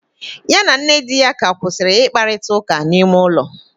Ya na nne di ya ka kwusiri ikparita uka na ime ulo